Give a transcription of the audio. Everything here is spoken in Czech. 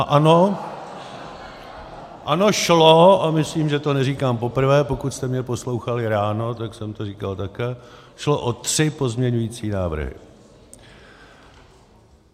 A ano, ano, šlo, a myslím, že to neříkám poprvé, pokud jste mě poslouchali ráno, tak jsem to říkal také, šlo o tři pozměňovací návrhy.